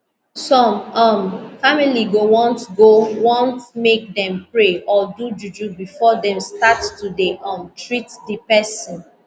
some um family go want go want make dem pray or do juju before dem start to dey um treat di pesin